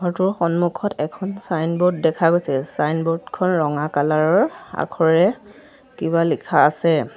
ঘৰটোৰ সন্মুখত এখন চাইনব'ৰ্ড দেখা গৈছে চাইনব'ৰ্ড খন ৰঙা কালাৰ ৰ আখৰে কিবা লিখা আছে।